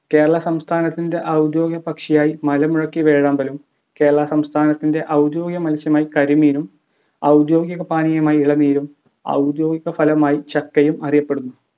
കേരള സംസ്ഥാനത്തിൻ്റെ ഔദ്യോഗിക പക്ഷിയായി മലമുഴക്കി വേഴാമ്പലും കേരള സംസ്ഥാനത്തിൻ്റെ ഔദ്യോഗിക മത്സ്യമായി കരിമീനും ഔദ്യോഗിക പാനീയമായി ഇളനീരും ഔദ്യോഗിക ഫലമായി ചക്കയും അറയപ്പെടുന്നു